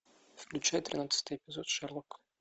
включай тринадцатый эпизод шерлок